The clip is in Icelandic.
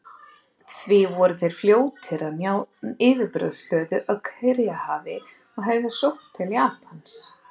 Því voru þeir fljótir að ná yfirburðastöðu á Kyrrahafi og hefja sókn til Japans.